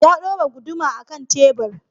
Ya ɗora guduma a kan tebur.